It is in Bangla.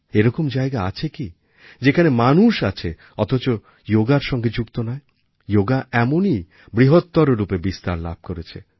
এরকম জায়গা আছে কি যেখানে মানুষ আছে অথচ যোগার সঙ্গে যুক্ত নয় যোগা এমনই বৃহত্তর রূপে বিস্তার লাভ করেছে